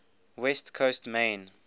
west coast main